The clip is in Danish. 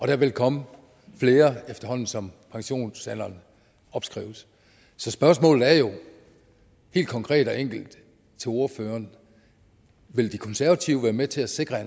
der vil komme flere efterhånden som pensionsalderen opskrives så spørgsmålet er jo helt konkret og enkelt til ordføreren vil de konservative være med til at sikre